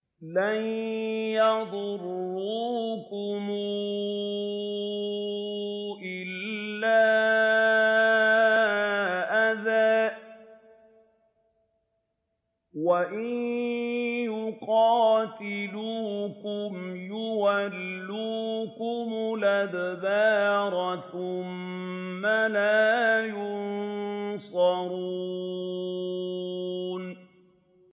لَن يَضُرُّوكُمْ إِلَّا أَذًى ۖ وَإِن يُقَاتِلُوكُمْ يُوَلُّوكُمُ الْأَدْبَارَ ثُمَّ لَا يُنصَرُونَ